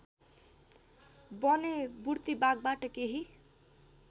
भने बुर्तिवागबाट केही